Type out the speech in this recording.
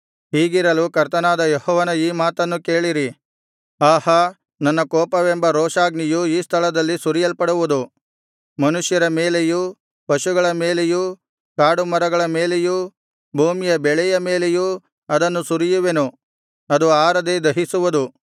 ಹೀಗಿರಲು ಕರ್ತನಾದ ಯೆಹೋವನ ಈ ಮಾತನ್ನು ಕೇಳಿರಿ ಆಹಾ ನನ್ನ ಕೋಪವೆಂಬ ರೋಷಾಗ್ನಿಯು ಈ ಸ್ಥಳದಲ್ಲಿ ಸುರಿಯಲ್ಪಡುವುದು ಮನುಷ್ಯರ ಮೇಲೆಯೂ ಪಶುಗಳ ಮೇಲೆಯೂ ಕಾಡುಮರಗಳ ಮೇಲೆಯೂ ಭೂಮಿಯ ಬೆಳೆಯ ಮೇಲೆಯೂ ಅದನ್ನು ಸುರಿಯುವೆನು ಅದು ಆರದೆ ದಹಿಸುವುದು